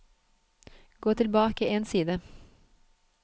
Gå tilbake én side